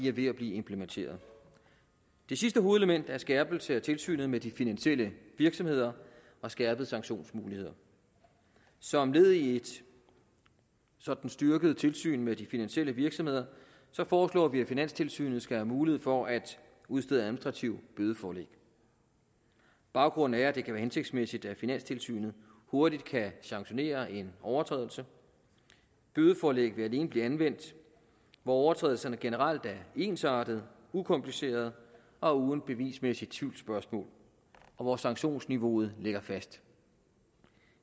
er ved at blive implementeret det sidste hovedelement er skærpelsen af tilsynet med de finansielle virksomheder og skærpede sanktionsmuligheder som led i et sådant styrket tilsyn med de finansielle virksomheder foreslår vi at finanstilsynet skal have mulighed for at udstede administrative bødeforlæg baggrunden er at det kan være hensigtsmæssigt at finanstilsynet hurtigt kan sanktionere en overtrædelse bødeforlæg vil alene blive anvendt hvor overtrædelserne generelt er ensartede ukomplicerede og uden bevismæssige tvivlsspørgsmål og hvor sanktionsniveauet ligger fast